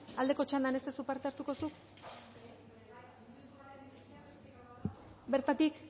aldeko txandan ez duzu parte hartuko zuk bertatik